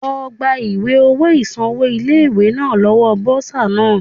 Lọ gba ìwé owó ìsanwó ilé ìwé náà lọ́wọ́ Bọ́sà náà.